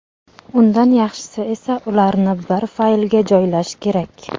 Undan yaxshisi esa ularni bir faylga joylash kerak.